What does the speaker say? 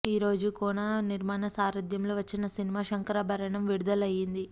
ఈరోజు కోనా నిర్మాణ సారధ్యంలో వచ్చిన సినిమా శంకరాభరణం విడుదల అయ్యింది